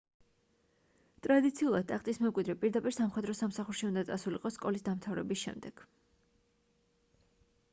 ტრადიციულად ტახტის მემკვიდრე პირდაპირ სამხედრო სამსახურში უნდა წასულიყო სკოლის დამთავრების შემდეგ